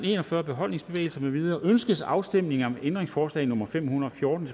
en og fyrre beholdningsbevægelser med videre ønskes afstemning om ændringsforslag nummer fem hundrede og fjorten